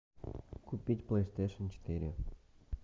купить плейстейшн четыре